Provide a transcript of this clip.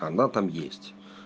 она там есть